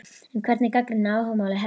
En hverjir gagnrýna áhugamálið helst?